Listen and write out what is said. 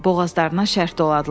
Boğazlarına şərh doladılar.